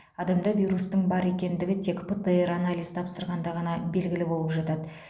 адамда вирустың бар екендігі тек птр анализ тапсырғанда ғана белгілі болып жатады